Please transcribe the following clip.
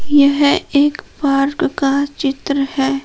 यह एक पार्क का चित्र है।